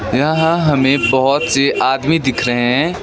यहां हमें बहुत से आदमी दिख रहे हैं।